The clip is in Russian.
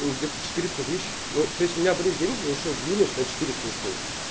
ну где то четыреста тысяч ну то есть у меня были деньги я ещё в минус на четыреста ушёл